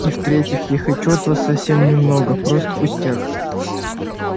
и в-третьих я хочу от вас совсем немного просто пустяк